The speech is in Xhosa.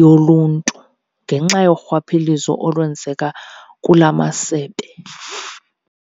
yoluntu ngenxa yorhwaphilizo olwenzeka kula masebe.